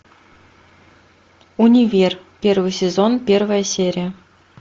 универ первый сезон первая серия